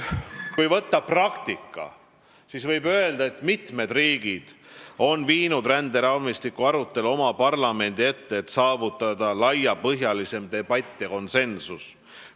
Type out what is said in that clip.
Kui vaadata praktikat, siis võib öelda, et mitmed riigid on viinud ränderaamistiku arutelu oma parlamendi ette, et saavutada laiapõhjalisem debatt ja konsensus.